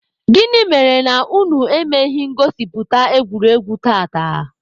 Gịnị mere na unu emeghị ngosipụta egwuregwu tata?